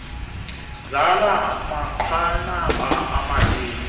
zala manqanaba omabini